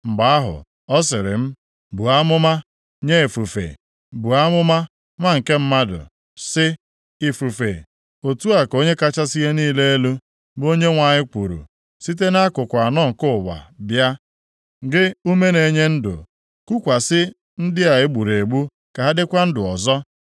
Mgbe ahụ, ọ sịrị m, “Buo amụma nye ifufe; buo amụma, nwa nke mmadụ, sị ifufe, ‘Otu a ka Onye kachasị ihe niile elu, bụ Onyenwe anyị kwuru: site nʼakụkụ anọ nke ụwa bịa, gị ume na-enye ndụ, kukwasị ndị a e gburu egbu ka ha dịkwa ndụ ọzọ.’ ”